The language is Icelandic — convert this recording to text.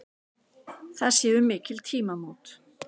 Það séu mikil tímamót.